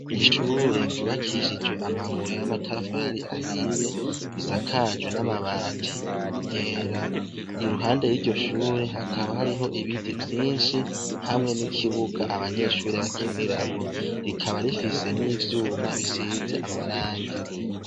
Ishure kibakishijwe amabuye y'amatafari ahiye, risakajwa n'amabati yera, iruhande y'iryo shure hakaba hariho ibiti vyinshi hamwe n'ikibuga abanyeshure bakiniramwo ,rikaba rifise n'ivyuma bisize amaragi.